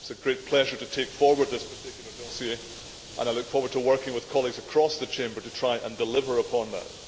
It is a great pleasure to take forward this particular dossier and I look forward to working with colleagues across the Chamber to try and deliver upon that.